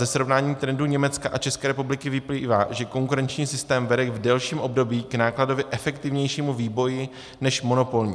Ze srovnání trendu Německa a České republiky vyplývá, že konkurenční systém vede v delším období k nákladově efektivnějšímu vývoji než monopolní.